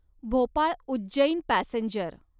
Bhopal Ujjain passenger